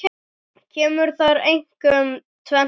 Kemur þar einkum tvennt til.